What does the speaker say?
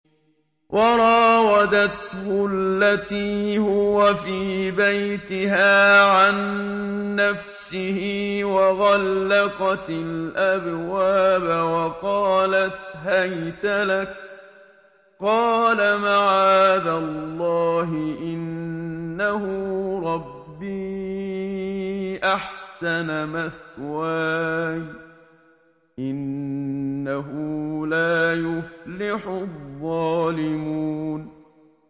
وَرَاوَدَتْهُ الَّتِي هُوَ فِي بَيْتِهَا عَن نَّفْسِهِ وَغَلَّقَتِ الْأَبْوَابَ وَقَالَتْ هَيْتَ لَكَ ۚ قَالَ مَعَاذَ اللَّهِ ۖ إِنَّهُ رَبِّي أَحْسَنَ مَثْوَايَ ۖ إِنَّهُ لَا يُفْلِحُ الظَّالِمُونَ